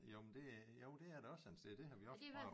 Jo men det jo det er der også en sted det har vi også prøvet